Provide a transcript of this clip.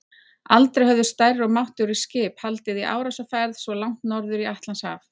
Aldrei höfðu stærri og máttugri skip haldið í árásarferð svo langt norður í Atlantshaf.